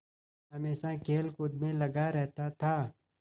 हमेशा खेलकूद में लगा रहता था